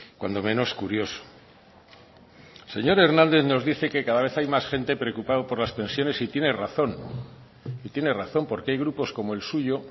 cuando menos curioso el señor hernández nos dice que cada vez hay más gente preocupada por las pensiones y tiene razón porque hay grupos como el suyo